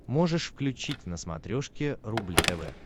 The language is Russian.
можешь включить на смотрешке рубль тв